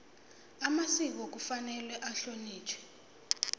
amasiko kufanele ahlonitjhwe